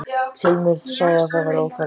Hilmar sagði að það væri óþarfi.